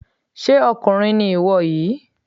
Ṣé ọkùnrin ni ìwọ yìí?